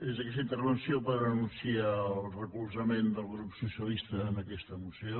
és aquesta intervenció per anunciar el recolzament del grup socialista a aquesta moció